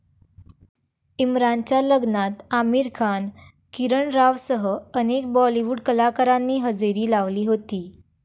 इम्रानच्या लग्नात आमिर खान, किरण रावसह अनेक बॉलिवूड कलाकारांनी हजेरी लावली होती.